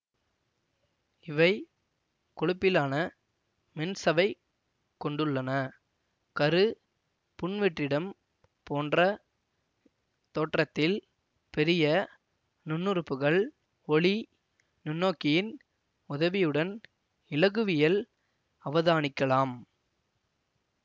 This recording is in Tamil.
இவை கொழுப்பிலான மென்சவைக் கொண்டுள்ளன கரு புன்வெற்றிடம் போன்ற தோற்றத்தில் பெரிய நுண்ணுறுப்புகள் ஒளி நுண்ணோக்கியின் உதவியுடன் இலகுவியல் அவதானிக்கலாம்